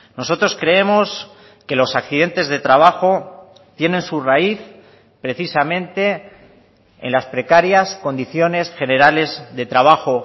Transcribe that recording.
nosotros creemos que los accidentes de trabajo tienen su raíz precisamente en las precarias condiciones generales de trabajo